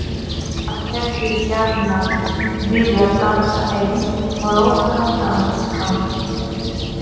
Hann hefði gjarnan viljað dansa einn rólegan dans við hana.